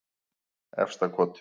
Efstakoti